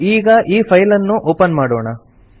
ನಾವು ಈ ಫೈಲ್ ಅನ್ನು ಒಪನ್ ಮಾಡೋಣ